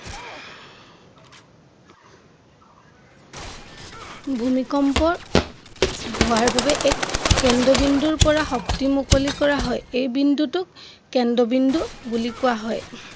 ভূমিকম্প হোৱাৰ বাবে এক কেন্দ্ৰবিন্দুৰ পৰা শক্তি মুকলি কৰা হয় এই বিন্দুটোক কেন্দ্ৰবিন্দু বুলি কোৱা হয়।